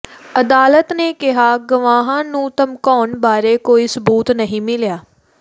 ਅਦਾਲਤ ਨੇ ਕਿਹਾ ਗਵਾਹਾਂ ਨੂੰ ਧਮਕਾਉਣ ਬਾਰੇ ਕੋਈ ਸਬੂਤ ਨਹੀਂ ਮਿਲਿਆ